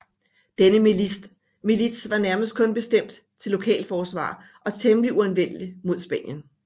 Denne milits var nærmest kun bestemt til lokalforsvar og temmelig uanvendelig mod Spanien